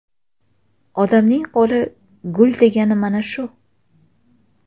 Odamning qo‘li gul degani mana shu.